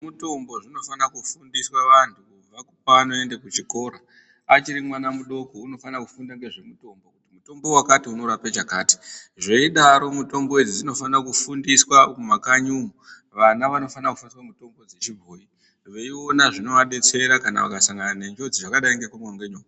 ...mutombo zvinofana kufundiswa vanhu kubva pavanoende kuchikoro. Achiri mwana mudoko unofana kufunda ngezvemutombo, kuti uyu mutombo unorape chakati. Zveidaro mitombo idzi dzinofane kufundiswa mumakanyi umu. Vana vanofana kushandisa mitombo dzechibhoyi. Veiona zvinovadetsera kana vakasangane nenjodzi zvakadai ngekurumwa ngenuoka